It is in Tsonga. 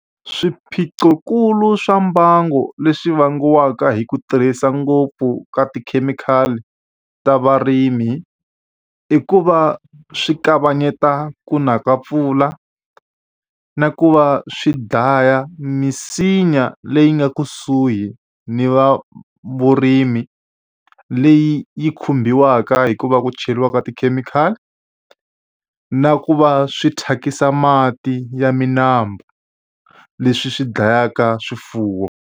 Swiphiqonkulu swa mbangu leswi vangiwaka hi ku tirhisa ngopfu ka tikhemikhali ta varimi, i ku va swi kavanyeta ku na ka mpfula, na ku va swi dlaya misinya leyi nga kusuhi ni va vurimi, leyi yi khumbiwaka hi ku va ku cheriwa ka tikhemikhali. Na ku va swi thyakisa mati ya milambu, leswi swi dlayaka swifuwo.